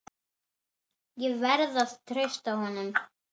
Ég verð að treysta honum.